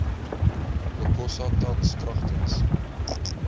okosa tans kragtens